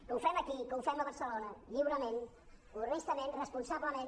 que ho fem aquí que ho fem a barcelona lliurement honestament responsablement